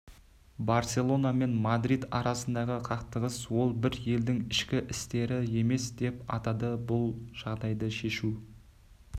барселона мен мадрид арасындағы қақтығыс ол бір елдің ішкі істері емес деп атады бұл жағдайды шешу